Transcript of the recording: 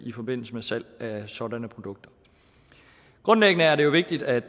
i forbindelse med salg af sådanne produkter grundlæggende er det jo vigtigt at